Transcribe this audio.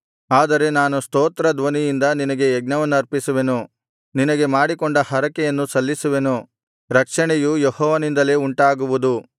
ಆದರೆ ನಾನು ಸ್ತೋತ್ರ ಧ್ವನಿಯಿಂದ ನಿನಗೆ ಯಜ್ಞವನ್ನರ್ಪಿಸುವೆನು ನಿನಗೆ ಮಾಡಿಕೊಂಡ ಹರಕೆಯನ್ನು ಸಲ್ಲಿಸುವೆನು ರಕ್ಷಣೆಯು ಯೆಹೋವನಿಂದಲೇ ಉಂಟಾಗುವುದು